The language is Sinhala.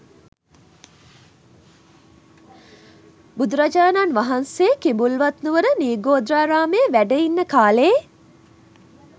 බුදුරජාණන් වහන්සේ කිඹුල්වත්නුවර නිග්‍රෝධාරාමයේ වැඩඉන්න කාලයේ